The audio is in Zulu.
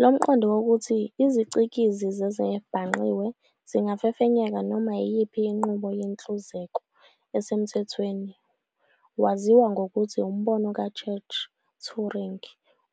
Lomqondo wokuthi izicikizi zezezibhangqiwe zingafefenyeka noma iyiphi inqubo yenhluzeko esemthethweni waziwa ngokuthi umbono ka-Church-Turing.